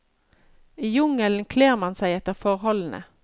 I jungelen kler man seg etter forholdene.